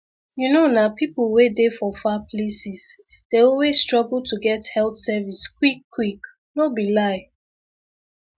you know nah people wey dey for far places dey always struggle to get health service quickquick no be lie